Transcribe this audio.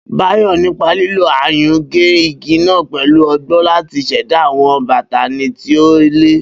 Bayo, nípa lílo ayùn, gé igi náà pẹ̀lú ọgbọ́n láti ṣẹ̀dá àwọn bátánì tí ó le.